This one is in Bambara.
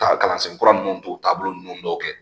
Ka kalansen kura ninnu t'o taabolo ninnu dɔw kɛ